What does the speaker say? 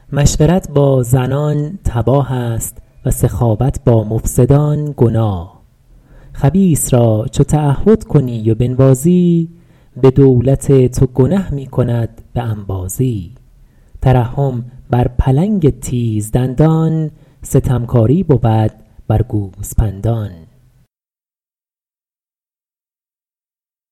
مشورت با زنان تباه است و سخاوت با مفسدان گناه خبیث را چو تعهد کنی و بنوازی به دولت تو گنه می کند به انبازی ترحم بر پلنگ تیز دندان ستمکاری بود بر گوسپندان